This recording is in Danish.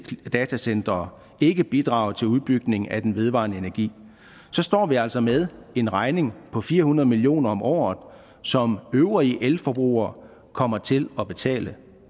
datacentre ikke bidrager til udbygning af den vedvarende energi står vi altså med en regning på fire hundrede million kroner om året som øvrige elforbrugere kommer til at betale